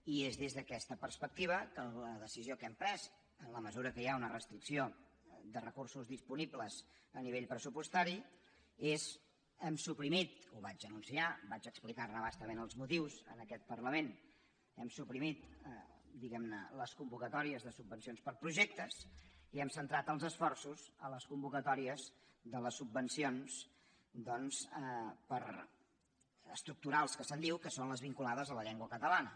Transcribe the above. i és des d’aquesta perspectiva que la decisió que hem pres en la mesura que hi ha una restricció de recursos dis·ponibles a nivell pressupostari és hem suprimit ho vaig anunciar vaig explicar·ne a bastament els mo·tius en aquest parlament diguem·ne les convoca·tòries de subvencions per a projectes i hem centrat els esforços a les convocatòries de les subvencions doncs estructurals que se’n diu que són les vincu·lades a la llengua catalana